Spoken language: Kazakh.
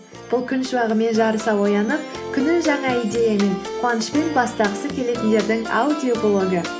бұл күн шуағымен жарыса оянып күнін жаңа идеямен қуанышпен бастағысы келетіндердің аудиоблогы